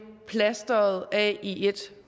plastret af i ét